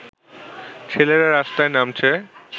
ছেলেরা রাস্তায় নামছে